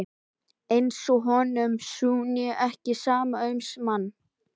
Eins og honum sé nú ekki sama um mann!